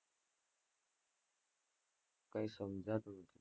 કાઈ સમજાતું નથી.